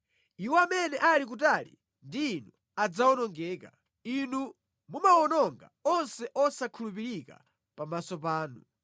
Iwo amene ali kutali ndi Inu adzawonongeka; Inu mumawononga onse osakhulupirika pamaso panu.